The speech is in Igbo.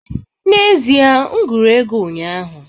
N'ezie, m gụrụ ego ụnyaahụ